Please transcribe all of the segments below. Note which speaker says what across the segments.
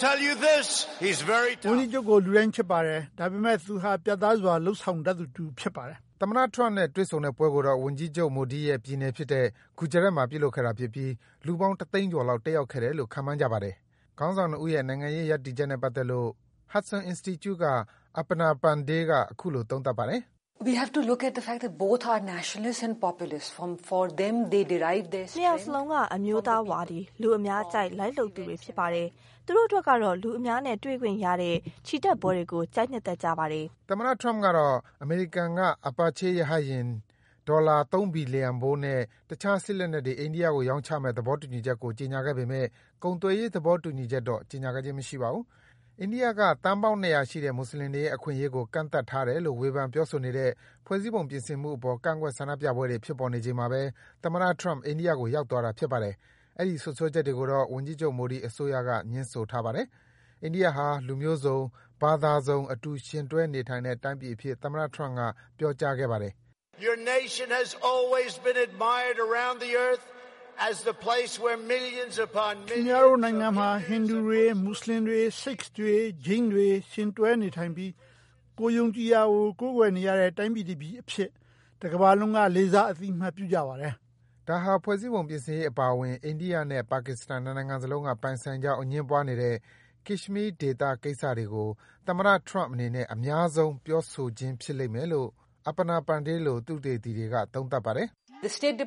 Speaker 1: ကြ
Speaker 2: ီးချုပ်ကို လူတိုင်း ချစ်ပါတယ်။ ဒါပေမယ့် သူဟာ ပြတ်သားစွာ လုပ်ဆောင်တတ်သူ ဖြစ်ပါတယ်။” သမ္မတ Trump နဲ့ တွေ့ဆုံတဲ့ပွဲကိုတော့ ဝန်ကြီးချုပ် Modi ရဲ့ပြည်နယ်ဖြစ်တဲ့ Gujarat မှာ ပြုလုပ်ခဲ့တာဖြစ်ပြီး လူပေါင်း တသိန်းကျော်လောက် တက်ရောက်ခဲ့တယ်လို့ ခန့်မှန်းကြပါတယ်။ ခေါင်းဆောင် ၂ ဦးရဲ့ နိုင်ငံရေးရပ်တည်ချက်နဲ့ပတ်သက်လို့ Hudson Institute က Aparna Pande က အခုလို သုံးသပ်ပါတယ်
Speaker 1: ။ “နှစ်ယောက်စလုံးက အမျိုးသားဝါဒီ၊ လူအများကြိုက် လိုက်လုပ်သူတွေဖြစ်ပါတယ်။ သူတို့အတွက်ကတော့ လူအများနဲ့ တွေ့ခွင့်ရတဲ့ ချီတက်ပွဲတွေကို ကြိုက်နှစ်သက်ကြပါတယ်။” အိ
Speaker 2: န္ဒိယက သန်းပေါင်း ၂၀၀ ရှိတဲ့ မွတ်ဆလင်တွေရဲ့ အခွင့်အရေးကို ကန့်သတ်တယ်လို့ ဝေဖန် ပြောဆိုနေတဲ့ ဖွဲ့စည်းပုံ ပြင်ဆင်မှုအပေါ် ကန့်ကွက် ဆန္ဒပြပွဲတွေ ဖြစ်ပေါ်နေချိန် သမ္မတ Trump အိန္ဒိယကို ရောက်သွားတာ ဖြစ်ပါတယ်။ အဲဒီ စွပ်စွဲချက်တွေကိုတော့ ဝန်ကြီးချုပ် Modi အစိုးရက ငြင်းထားပါတယ်။ အိန္ဒိယဟာ လူမျိုးစုံ၊ ဘာသာစုံ အတူယှဉ်တွဲနေထိုင်တဲ့ တိုင်းပြည်အဖြစ် သမ္မတ Trump က ပြောကြားခဲ့ပါတယ်။
Speaker 1: “ခင်ဗျားတို့နိုင်ငံမှာ ဟိန္ဓူတွေ၊ မွတ်ဆလင်တွေ၊
Speaker 2: Sikhs တွေ၊ ဂျိန်းတွေ ယှဉ်တွဲနေထိုင်ပြီး ကိုယ်ယုံကြည်ရာကို ကိုးကွယ်နေကြတဲ့ တိုင်းပြည်အဖြစ် တကမ္ဘာလုံးက လေးစား အသိအမှတ်ပြုကြပါတယ်။” ဒါဟာ ဖွဲ့စည်းပုံပြုပြင်ရေးအပါအဝင် အိန္ဒိယနဲ့ ပါကစ္စတန် ၂ နိုင်ငံစလုံးက ပိုင်ဆိုင်ကြောင်း အငြင်းပွားနေတဲ့ Kashmir ဒေသကိစ္စတွေကို သမ္မတ Trump အနေနဲ့ အများဆုံး ပြောဆိုခြင်းဖြစ်လိမ့်မယ်လို့ Aparna Pande လို သုတေသီတွေက သုံးသပ်ပါတယ်။ “
Speaker 1: အိန္ဒ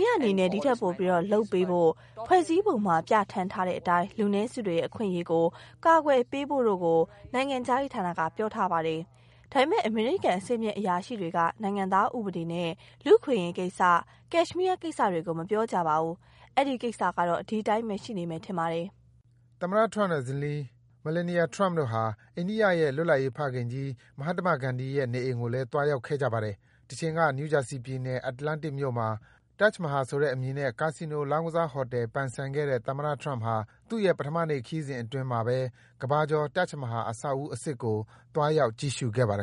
Speaker 1: ိယအနေနဲ့ ဒီထက်ပိုပြီး လုပ်ပေးဖို့၊ ဖွဲ့စည်းပုံမှာပြဌာန်းထားတဲ့အတိုင်း လူနည်းစုတွေရဲ့ အခွင့်အရေးကို ကာကွယ်ပေးဖို့တို့ကို နိုင်ငံခြားရေးဌာနက ပြောထားပါတယ်။ ဒါပေမယ့် အမေရိကန် အဆင့်မြင့် အရာရှိတွေက နိုင်ငံသားဥပဒေနဲ့ လူ့အခွင့်အရေးကိစ္စ၊ Kashmir ကိစ္စတွေကို မပြောကြပါဘူး။ အဲဒီကိစ္စကတော့ ဒီအတိုင်းဘဲ ရှိနေမယ်ထင်ပါတယ်။
Speaker 2: ” သမ္မတ Trump နဲ့ ဇနီး Melania Trump တို့ဟာ အိန္ဒိယရဲ့ လွှတ်လပ်ရေးဖခင်ကြီး Mahatma Gandhi ရဲ့အိမ်ကိုလည်း သွားခဲ့ကြပါတယ်။ တချိန်က New Jersey ပြည်နယ်၊ Atlantic မြို့မှာ Taj Mahal ဆိုတဲ့အမည်နဲ့ ကာဆီနို လောင်းကစားဟိုတယ် ပိုင်ဆိုင်ခဲ့တဲ့ သမ္မတ Trump ဟာ သူ့ရဲ့ ပထမနေ့ ခရီးစဉ်အတွင်း အိန္ဒိယက ကမ္ဘာကျော် Taj Mahal အဆောက်အဦးအစစ်ကို သွားရောက် ကြည့်ရှုခဲ့ပါတယ်